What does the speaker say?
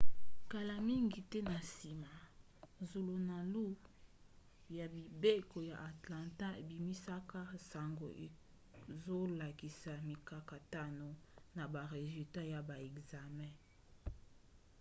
kala mingi te na nsima zulunalu ya mibeko ya atlanta ebimisaka sango ezolakisa mikakatano na ba resultat ya ba ekzame